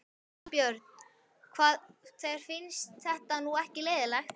Ingi Björn, þér finnst þetta nú ekki leiðinlegt?